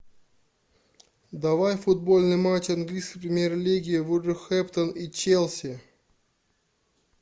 давай футбольный матч английской премьер лиги вулверхэмптон и челси